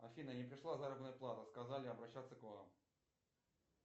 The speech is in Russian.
афина не пришла заработная плата сказали обращаться к вам